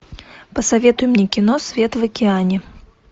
посоветуй мне кино свет в океане